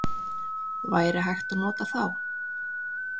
Væri hægt að nota þá?